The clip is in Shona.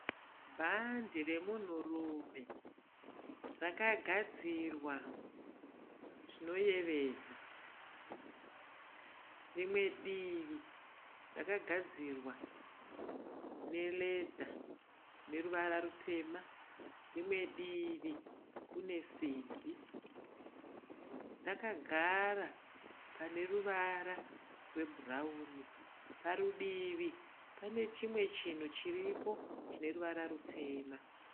Bhandi remunhu rume rakagadzirwa zvinoyevedza. Rimwe divi rakagadzirwa ne "leather" ineruvara rutema, rimwe divi rine simbi. Rakagara paneruvara rwebhurawuni .Parudivi panechimwe chinhu chiripo chineruvara rutema.